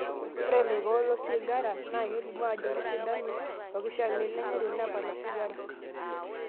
Ore laikok losigara naa kelimu ajo kesidanu olkishamiet lenye tenepal osigara.